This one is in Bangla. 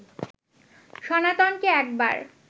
সনাতনকে একবার